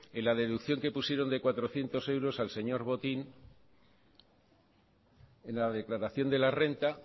en le deducción que pusieron de cuatrocientos euros al señor botín en la declaración de la renta